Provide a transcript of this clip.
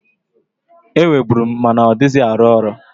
Enweburu m, ma na ọdịghịzị arụ ọrụ.